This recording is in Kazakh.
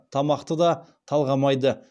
тамақты да талғамайды